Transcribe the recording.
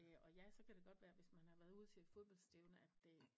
Øh og ja så kan det godt være at hvis man har været ude til et fodboldstævne at øh